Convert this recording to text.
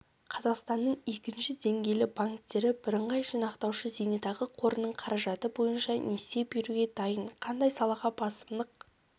қазақстанның екінші деңгейлі банктері бірыңғай жинақтаушы зейнетақы қорының қаражаты бойынша несие беруге дайын қандай салаға басымдық